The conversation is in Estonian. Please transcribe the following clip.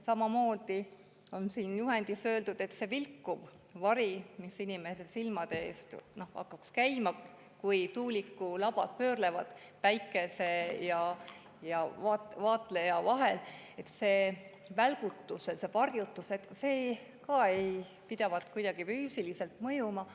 Samamoodi on siin juhendis öeldud, et see vilkuv vari, mis inimese silmade ette, kui tuulikulabad pöörlevad päikese ja vaatleja vahel, see välgutus, see varjutus, ei pidavat ka kuidagi füüsiliselt mõjuma.